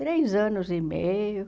Três anos e meio.